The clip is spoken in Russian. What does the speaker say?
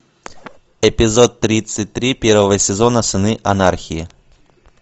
эпизод тридцать три первого сезона сыны анархии